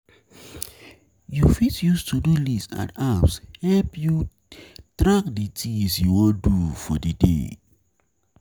You fit use to-do-list and apps to help you track di things you wan do for di day